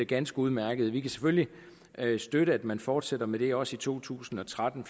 ganske udmærket vi kan selvfølgelig støtte at man fortsætter med det også i to tusind og tretten